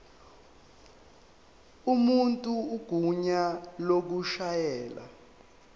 umuntu igunya lokushayela